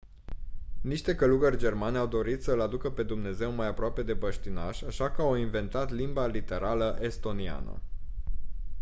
niște călugări germani au dorit să îl aducă pe dumnezeu mai aproape de băștinași așa că au inventat limba literală estoniană